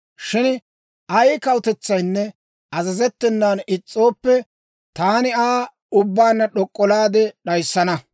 Shin ay kawutetsaynne azazettenan is's'ooppe, taani Aa ubbaanna d'ok'olaade d'ayissana. Taani Med'inaa Goday hawaa odaad» yaagee.